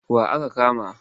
Wa aka kama?